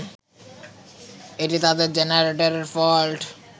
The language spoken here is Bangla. এটি তাদের জেনারেটরের ফল্ট